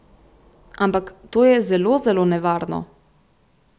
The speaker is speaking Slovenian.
Ampak, to je zelo zelo nevarno.